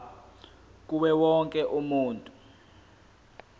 kuwo wonke umuntu